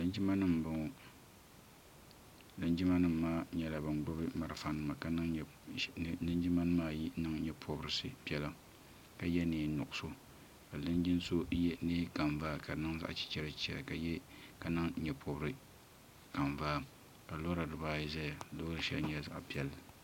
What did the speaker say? Linjima nima m boŋɔ linjima nima maa nyɛla ban gbibi marafa nima ka linjima nima ayi niŋ nyeporisi piɛla ka ye niɛn'nuɣuso ka linjin'so ye niɛn'kanvaa ka di niŋ zaɣa chichera chichera ka niŋ nuepori'kanvaa ka lora dibaayi ƶɛya loori sheli nyɛla zaɣa piɛlli.